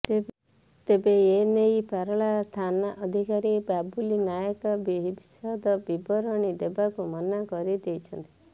ତେବେ ଏ ନେଇ ପାରଳା ଥାନାଧିକାରୀ ବାବୁଲି ନାୟକ ବିଶଦ ବିବରଣୀ ଦେବାକୁ ମନା କରି ଦେଇଛନ୍ତି